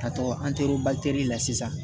Ka to an teriw la sisan